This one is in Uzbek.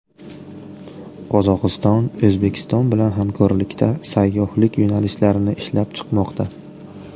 Qozog‘iston O‘zbekiston bilan hamkorlikda sayyohlik yo‘nalishlarini ishlab chiqmoqda.